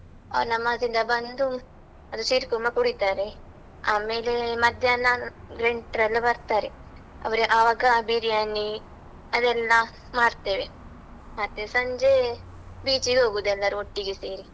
ಅವ್ರು ನಮಾಜಿಂದ ಬಂದು, ಅದು ಸೀರ್ ಕುರ್ಮಾ ಕುಡೀತಾರೆ, ಆಮೇಲೆ ಮಧ್ಯಾಹ್ನ ನೆಂಟ್ರೆಲ್ಲ ಬರ್ತಾರೆ ಅವ್ರಿಗೆ ಅವಾಗ ಬಿರ್ಯಾನಿ ಅವೆಲ್ಲ ಮಾಡ್ತೇವೆ, ಮತ್ತೆ ಸಂಜೆ ಬೀಚಿಗೆ ಹೋಗುದು ಎಲ್ಲರೂ ಒಟ್ಟಿಗೆ ಸೇರಿ.